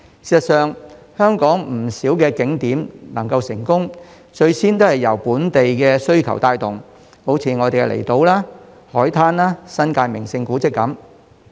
事實上，香港不少景點所以能夠成功，最先也是由本地需求帶動，例如離島、海灘、新界名勝古蹟等。